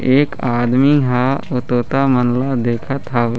एक आदमी ह ओ तोता मन ला देखत हवे।